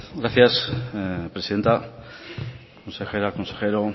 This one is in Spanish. gracias presidenta consejera consejero